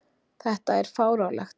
Þetta er fáránlegt